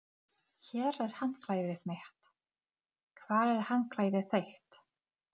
Ég skil þetta ekki alveg.